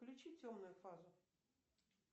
включи темную фазу